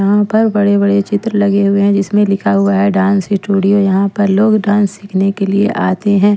यहाँ पर बड़े-बड़े चित्र लगे हुए हैं जिसमें लिखा हुआ है डांस स्टूडियो यहाँ पर लोग डांस सीखने के लिए आते हैं।